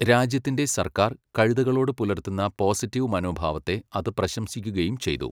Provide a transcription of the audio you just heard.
രാജ്യത്തിന്റെ സർക്കാർ കഴുതകളോട് പുലർത്തുന്ന പോസിറ്റീവ് മനോഭാവത്തെ അത് പ്രശംസിക്കുകയും ചെയ്തു.